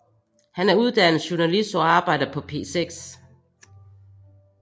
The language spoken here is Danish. Hun er uddannet journalist og arbejder på P6